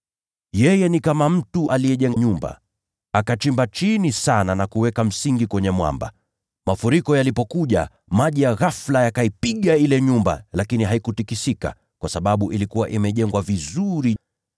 Yeye ni kama mtu aliyejenga nyumba, akachimba chini sana, na kuweka msingi kwenye mwamba. Mafuriko yalipokuja, maji ya ghafula yaliipiga ile nyumba, lakini haikutikisika, kwa sababu ilikuwa imejengwa vizuri.